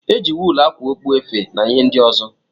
Eji wuulu ákwà okpu, efe na ihe ndị ọzọ.